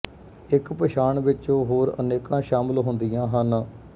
ਇੱਕ ਪਛਾਣ ਵਿੱਚ ਹੋਰ ਅਨੇਕਾਂ ਸ਼ਾਮਲ ਹੁੰਦੀਆਂ ਹਨ